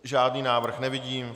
Žádný návrh nevidím.